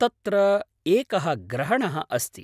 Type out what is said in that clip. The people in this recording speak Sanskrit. तत्र एकः ग्रहणः अस्ति।